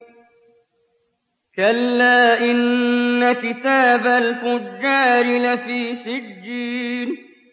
كَلَّا إِنَّ كِتَابَ الْفُجَّارِ لَفِي سِجِّينٍ